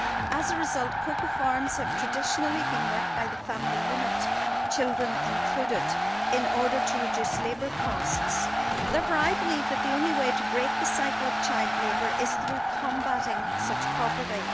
As a result, cocoa farms have traditionally been worked by the family unit, children included, in order to reduce labour costs. Therefore I believe that the only way to break the cycle of child labour is through combating such poverty.